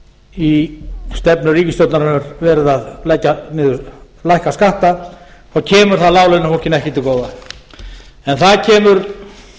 í stefnu ríkisstjórnarinnar verið að lækka skatta þá kemur það láglaunafólkinu ekki til góða en það kemur